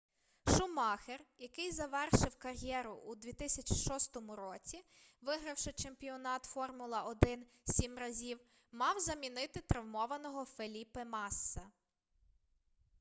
шумахер який завершив кар'єру у 2006 році вигравши чемпіонат формула-1 сім разів мав замінити травмованого феліпе масса